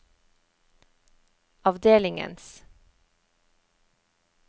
avdelingens